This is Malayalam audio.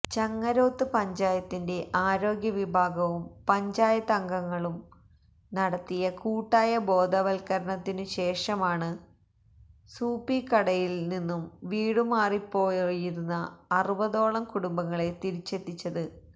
ചങ്ങരോത്ത് പഞ്ചായത്തിന്റെ ആരോഗ്യവിഭാഗവും പഞ്ചായത്തംഗങ്ങളും നടത്തിയ കൂട്ടായ ബോധവല്ക്കരണത്തിനു ശേഷമാണ് സൂപ്പിക്കടയില് നിന്നും വീടുമാറിപ്പോയിരുന്ന അറുപതോളം കുടുംബങ്ങളെ തിരിച്ചെത്തിച്ചത്